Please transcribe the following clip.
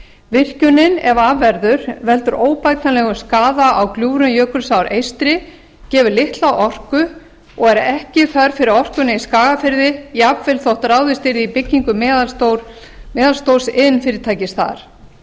virkjunin ef af verður veldur óbætanlegum skaða á gljúfrum jökulsár eystri gefur litla orku og ekki þörf fyrir orkuna í skagafirði jafnvel þótt ráðist yrði í byggingu meðalstórs iðnfyrirtækis þar það